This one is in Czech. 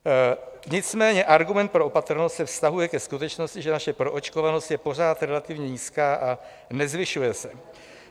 Nicméně argument pro opatrnost se vztahuje ke skutečnosti, že naše proočkovanost je pořád relativně nízká a nezvyšuje se.